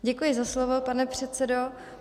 Děkuji za slovo, pane předsedo.